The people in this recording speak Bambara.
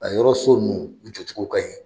A yɔrɔ so ninnu u jɔcogo ka ɲi.